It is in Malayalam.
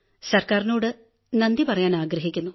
ഗവൺമെന്റിനോടു നന്ദി പറയാനാഗ്രഹിക്കുന്നു